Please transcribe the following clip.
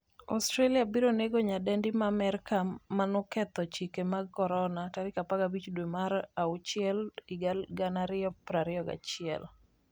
Australia biro nego nyadendi ma Amerka manoketho chike mag Corona' 15 dwe mar achiel 2021